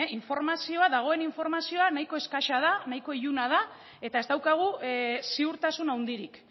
dagoenean informazioa nahiko eskasa da nahiko iluna da eta ez daukagu ziurtasun handirik